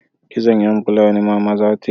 Kitson yan Fulani mama za ta yi